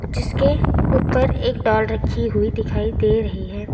जिसके ऊपर एक डाल रखी हुई दिखाई दे रही है।